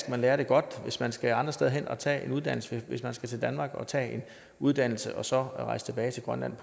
at man lærer det godt hvis man skal andre steder hen og tage en uddannelse hvis man skal til danmark og tage en uddannelse og så rejse tilbage til grønland